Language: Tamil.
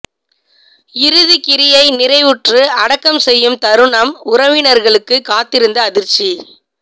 இறுதி கிரியை நிறைவுற்று அடக்கம் செய்யும் தருணம் உறவினர்களுக்கு காத்திருந்த அதிர்ச்சி